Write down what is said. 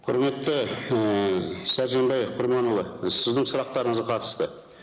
құрметті і сәрсенбай құрманұлы сіздің сұрақтарыңызға қатысты